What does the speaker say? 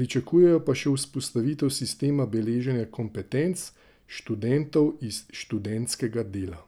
pričakujejo pa še vzpostavitev sistema beleženja kompetenc študentov iz študentskega dela.